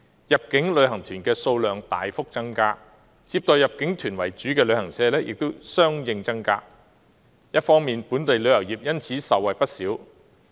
入境旅行團的數量大幅增加，接待入境團為主的旅行社亦相應增加，本地旅遊業因而受惠不少。